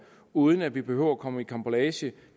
uden at vi behøver at komme i karambolage